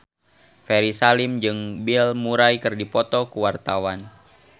Ferry Salim jeung Bill Murray keur dipoto ku wartawan